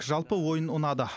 жалпы ойын ұнады